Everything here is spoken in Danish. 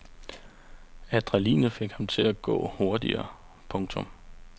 Adrenalinet fik ham til at gå hurtigere. punktum